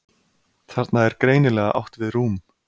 Þarna er greinilega átt við rúm.